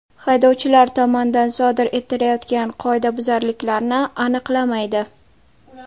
Haydovchilar tomonidan sodir etilayotgan qoidabuzarliklarni aniqlamaydi.